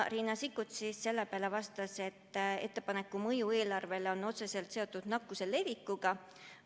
Riina Sikkut vastas selle peale, et ettepaneku mõju eelarvele on otseselt seotud nakkuse levikuga.